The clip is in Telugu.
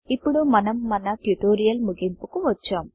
ఇప్పుడు మనం మన ట్యుటోరియల్ ముగింపుకు వచ్చాం